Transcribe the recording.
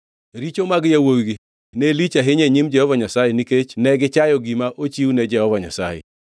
Richo mag yawuowigi ne lich ahinya e nyim Jehova Nyasaye nikech ne gichayo gima ochiw ne Jehova Nyasaye.